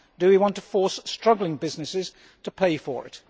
Do you want to force struggling businesses to pay for it?